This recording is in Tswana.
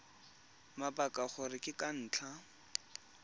mabaka gore ke ka ntlha